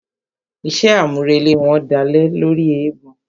Iṣé àmúrelé wọn dálé lóri eégbọn.